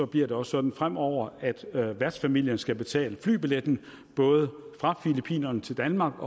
bliver det også sådan fremover at værtsfamilien skal betale flybilletten både fra filippinerne til danmark